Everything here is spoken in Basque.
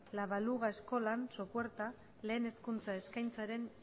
la baluga eskolan sopuerta lehen hezkuntza eskaintzaren